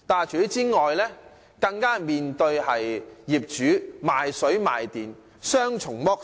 除此之外，更須向業主買水買電，被雙重剝削。